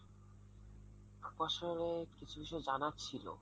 আপনার সঙ্গে কিছু কিছু জানার ছিল।